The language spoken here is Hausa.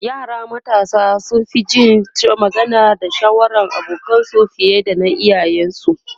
yara matasa sun Fi Jin magana da shawarar abokanansu fiye da na iyayen su